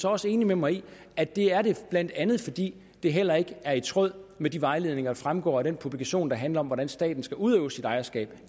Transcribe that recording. også enig med mig i at det er det blandt andet fordi det heller ikke er i tråd med de vejledninger der fremgår af den publikation der handler om hvordan staten skal udøve sit ejerskab